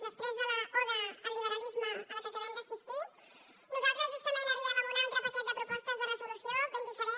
després de l’oda al liberalisme a què acabem d’assistir nosaltres justament arribem amb un altre paquet de propostes de resolució ben diferent